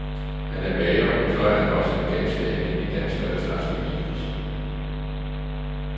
Han er bager, og så er han også en ganske almindelig dansker, der snart skal giftes.